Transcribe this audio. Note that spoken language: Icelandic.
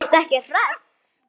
Ertu ekki hress?